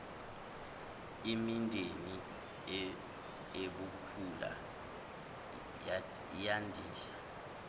imindeni ibhukula yandisa